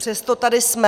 Přesto tady jsme!